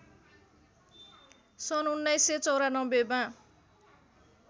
सन् १९९४मा